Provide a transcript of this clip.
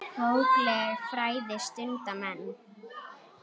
Bókleg fræði stunda menn.